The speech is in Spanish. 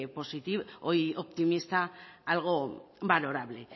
optimista algo valorable